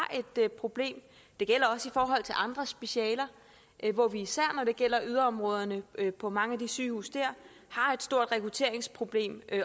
et problem det gælder også i forhold til andre specialer hvor vi især når det gælder yderområderne på mange af de sygehuse dér har et stort rekrutteringsproblem